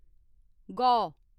गौ